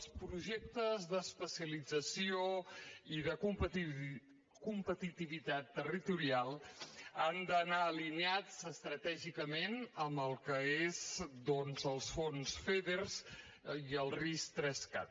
els projectes d’especialització i de competitivitat territorial han d’anar alineats estratègicament amb el que són doncs els fons feder i el ris3cat